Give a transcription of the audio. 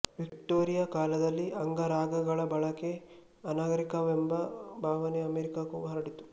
Victoria ಕಾಲದಲ್ಲಿ ಅಂಗರಾಗಗಳ ಬಳಕೆ ಅನಾಗರಿಕವೆಂಬ ಭಾವನೆ ಅಮೆರಿಕಕ್ಕೂ ಹರಡಿತ್ತು